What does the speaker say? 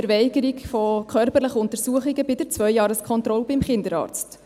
Verweigerung von körperlichen Untersuchungen bei der Zweijahreskontrolle beim Kinderarzt.